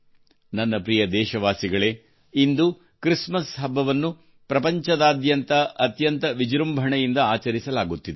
ನನ್ನ ಪ್ರಿಯ ದೇಶವಾಸಿಗಳೇ ಇಂದು ಕ್ರಿಸ್ಮಸ್ ಹಬ್ಬವನ್ನು ಪ್ರಪಂಚದಾದ್ಯಂತ ಅತ್ಯಂತ ವಿಜೃಂಭಣೆಯಿಂದ ಆಚರಿಸಲಾಗುತ್ತಿದೆ